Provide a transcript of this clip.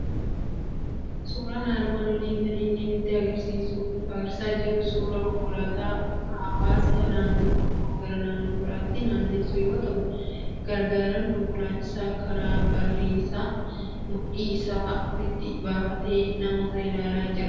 Suuraan armaan olii kan inni nutti argisiisaa jiru suuraa konkolaataa hawwaasa naannoo tokkoo gara naannoo biraatti naannessu yoo ta'u, gargaaraan konkolaachisaa karaa barrii isaa mudhii isaa olitti baafatee namoota ilaalaa jira.